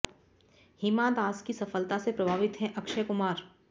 हिमा दास की सफलता से प्रभावित हैं अक्षय कुमार